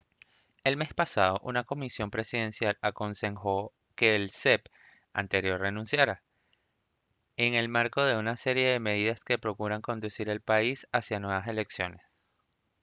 el mes pasado una comisión presidencial aconsejó que el cep anterior renunciara en el marco de una serie de medidas que procuran conducir al país hacia nuevas elecciones